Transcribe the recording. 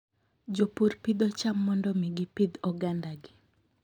Jopur pidho cham mondo mi gipidh ogandagi.